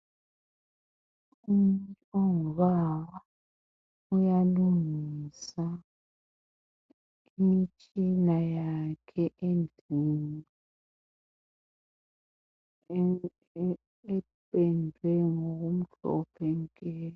Umuntu ongubaba uyalungisa imitshina yakhe endlini ependwe ngombala omhlophe nke.